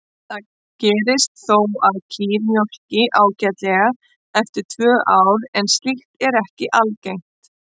Það gerist þó að kýr mjólki ágætlega eftir tvö ár en slíkt er ekki algengt.